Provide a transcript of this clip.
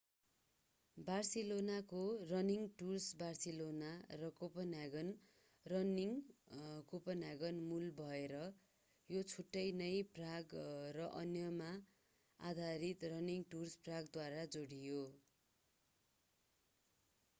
बार्सिलोनाको running tours Barcelona र कोपेनहेगनको running Copenhagen मूल भएर यो छिट्टै नै प्राग र अन्यमा आधारित रनिङ टुर्स प्रागद्वारा जोडियो